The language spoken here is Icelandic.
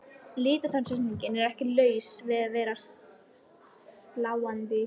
Litasamsetningin er ekki laus við að vera sláandi.